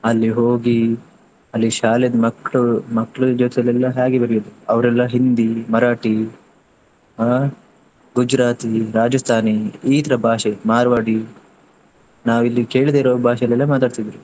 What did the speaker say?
ಅಲ್ಲಿ ಹೋಗಿ ಅಲ್ಲಿ ಶಾಲೆದ್ ಮಕ್ಕ್ಳು, ಮಕ್ಕ್ಳು ಜೊತೆಯಲ್ಲೆಲ್ಲಾ ಹ್ಯಾಗೆ ಬೆರೆಯುದು ಅವ್ರೆಲ್ಲಾ ಹಿಂದಿ, ಮರಾಠಿ, ಹಾ ಗುಜರಾತಿ, ರಾಜಸ್ತಾನಿ ಇತರ ಭಾಷೆ ಮಾರ್ವಾಡಿ ನಾವು ಇಲ್ಲಿ ಕೇಳದೆ ಇರೋ ಭಾಷೆಯಲ್ಲೆಲ್ಲ ಮಾತಾಡ್ತಿದ್ರು.